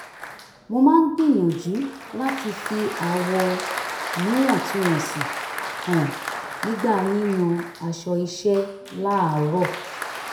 mo máa ń gbìyànjú láti fi àwọ̀ níwọ̀ntúnwọ̀nsì hàn nígbà yíyan aṣọ iṣẹ́ láàárọ̀